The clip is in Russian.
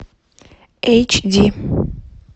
эйч ди